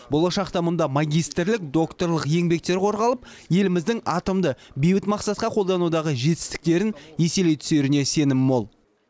болашақта мұнда магистрлік докторлық еңбектер қорғалып еліміздің атомды бейбіт мақсатқа қолданудағы жетістіктерін еселей түсеріне сенім мол